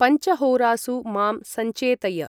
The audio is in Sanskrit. पञ्चहोरासु मां सञ्चेतय